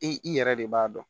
I i yɛrɛ de b'a dɔn